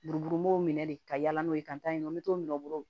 Buruburumuw minɛ de ka yaala n'o ye ka taa yen nɔ n bɛ t'o minɛ bolo